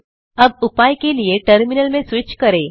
अब उपाय के लिए टर्मिनल में स्विच करें